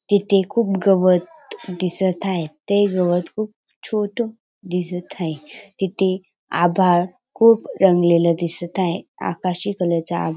तिथे खूप गवत दिसत आहे ते गवत खूप छोट दिसत आहे तिथे आभाळ खूप रंगलेल दिसत आहे आकाशी कलर चा आभाळ --